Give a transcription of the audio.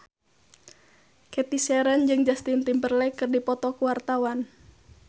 Cathy Sharon jeung Justin Timberlake keur dipoto ku wartawan